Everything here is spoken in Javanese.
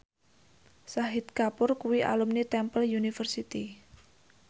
Shahid Kapoor kuwi alumni Temple University